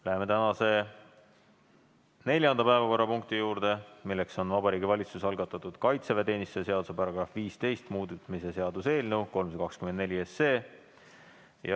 Läheme tänase neljanda päevakorrapunkti juurde, milleks on Vabariigi Valitsuse algatatud kaitseväeteenistuse seaduse § 15 muutmise seaduse eelnõu 324.